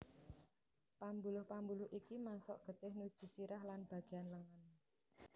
Pambuluh pambuluh iki masok getih nuju sirah lan bagéan lengen